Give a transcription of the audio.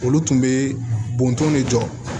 Olu tun bɛ bɔntɔn ne jɔ